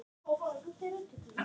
Nei, ert þú kominn?